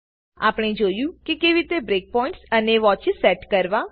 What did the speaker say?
આપણે જોયું કેવી રીતે બ્રેક પોઈન્ટ અને વોચેસ સેટ કરવા